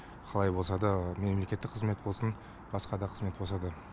қалай болса да мемлекеттік қызмет болсын басқа да қызмет болса да